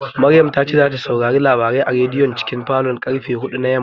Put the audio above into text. Maryam ta ce zata saurari labarai a rediyon cikin falon karfe huɗu na yamma